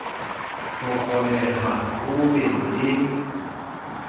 ho kgoneha ho be le